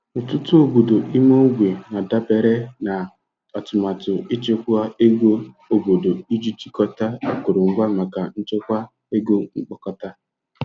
Ọtụtụ obodo ime ogbe na-adabere na atụmatụ ichekwa ego obodo iji chịkọta akụrụngwa maka nchekwa ego mkpokọta.